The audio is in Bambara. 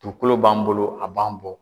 Dukolo b'an bolo a b'an bɔ.